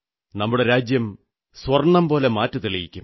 നമ്മുടെ രാജ്യം സ്വർണ്ണം പോലെ മാറ്റു തെളിയിക്കും